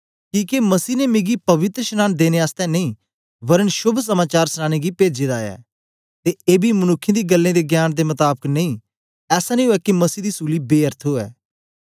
किके मसीह ने मिकी पवित्रशनांन देने आसतै नेई वरन शोभ समाचार सनाने गी पेजे दा ऐ ते एबी मनुक्खें दी गल्लें दे ज्ञान दे मताबक नेई ऐसा नेई उवै के मसीह दी सूली बेअर्थ उवै